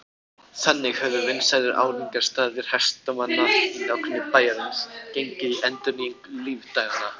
Þannig höfðu vinsælir áningarstaðir hestamanna í nágrenni bæjarins gengið í endurnýjung lífdaganna.